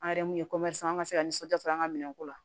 An yɛrɛ mun ye an ka se ka nisɔndiya sɔrɔ an ka minɛn ko la